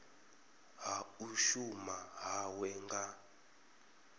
ha u shuma hawe nga